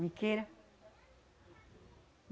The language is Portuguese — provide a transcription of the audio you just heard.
Me queira.